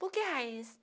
Por que raiz?